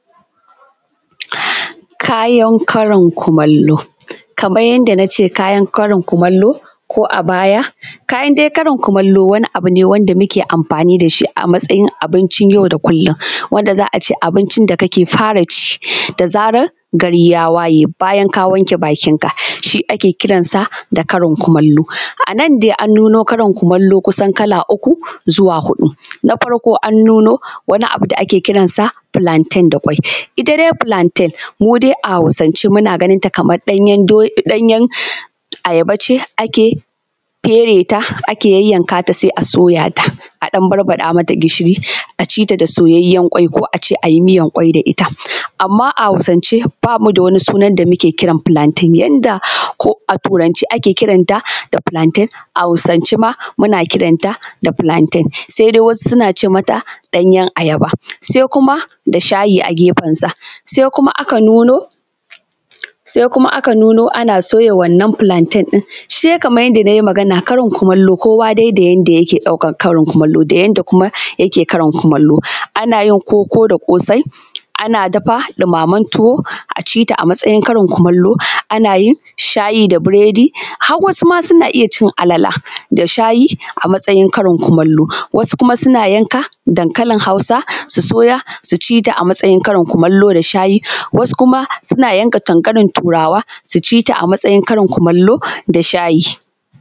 Kayan karin kumallo, kamar yadda na ce kayan karin kumallo ko a baya. Kayan dai karin kumallo wani abu ne da muke yin amfani da shi a matsayin abincin yau da kullum, wanda za a ce abincin da ka ke fara ci da zarar, gari ya waye, bayan ka wanke bakin ka shi ake kira kayan karin kumallo. A nan dai an nuno kayan karin kumallo kusan kala uku, zuwa huɗu. Na farko an nuno wani abu da ake kiransa filanten da ƙwai. Ita dai filanten, mu dai a Hausance muna ganin ta kaman ɗanyen do ɗanyan, ayaba ce ake fere ta, ake yayyanka ta sai a soya ta, a ɗan barbaɗa mata gishiri, a ci ta da soyayyen ƙwai ko a ce a ci miyan ƙwai da ita. Amma a Hausance ba mu da wani suna da muke kiran filanten, janda ko a turance ake kiran ta da filanten, a Hausance ma muna kiran ta da filanten, sai dai wasu suna ce mata ɗanyen ajaba. Sai kuma da shayi a geɸensa, sai kuma aka nuno, sai kuma aka nuno ana soya wannan filanten ɗin. sai kamar yadda nai maganan karin kumallo kowa dai yadda yake ɗaukan karin kumallo, da yadda kuma yake karin kumallo. Ana yin koko da ƙosai, ana dafa ɗumamen tuwo, a ʧi ta a matsayin karin kumallo, ana yin shayi da biredi, har wasu ma suna iya cin alala da shayi a matsayicen karin kumallo. Wasu kuma suna yanka dankalin Hausa su soya su ci ta matsayin karn kumallo karin kumallo da shayi. Wasu kuma suna yanka dankalin turawa su ci ta a matsayin karin kumallo da shaji.